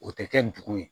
O tɛ kɛ ndugu ye